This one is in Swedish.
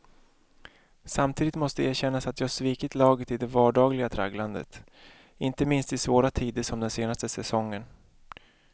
Samtidigt måste erkännas att jag svikit laget i det vardagliga tragglandet, inte minst i svåra tider som den senaste säsongen.